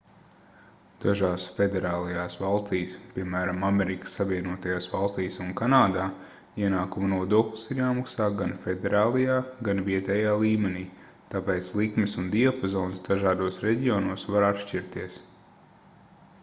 dažās federālajās valstīs piemēram amerikas savienotajās valstīs un kanādā ienākumu nodoklis ir jāmaksā gan federālajā gan vietējā līmenī tāpēc likmes un diapazons dažādos reģionos var atšķirties